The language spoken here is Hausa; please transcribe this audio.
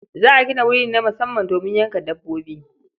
Za a gina wuri ne na musamman domin yanka dabbobi.